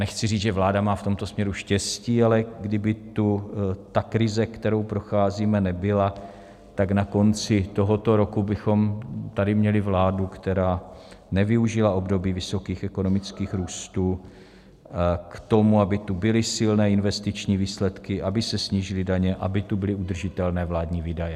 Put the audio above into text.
Nechci říct, že vláda má v tomto směru štěstí, ale kdyby tu ta krize, kterou procházíme, nebyla, tak na konci tohoto roku bychom tady měli vládu, která nevyužila období vysokých ekonomických růstů k tomu, aby tu byly silné investiční výsledky, aby se snížily daně, aby tu byly udržitelné vládní výdaje.